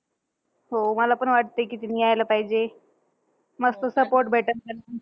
हो. मला पण वाटतंय कि तिने यायला पाहिजे. मस्त support भेटेल त्याला.